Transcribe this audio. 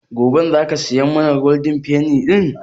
Goben za ka saya mana Golden penny ɗin?